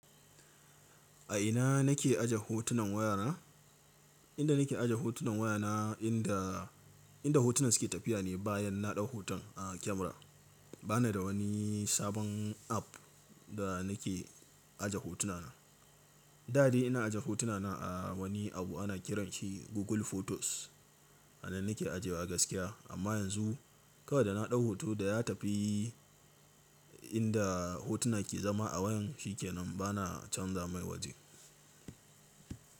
A ina na ke aje hotunan waya na? Inda na ke aje hotunan wayana, inda, inda hotunan su ke tafiya ne bayan na ɗau hoton a kyamara. Ba ni da wani sabon app da na ke aje hotuna na. Da dai ina aje hotunana a wani abu ana ƙiran shi Google Photos. A nan na ke ajewa gaskiya. Amma yanzu kawai da na ɗau hoto da ya tafi inda hotuna ke zama a wayan shi ke nan. Ba na canza mai waje.